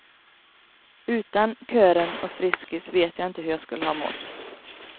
Utan kören och friskis vet jag inte hur jag skulle ha mått.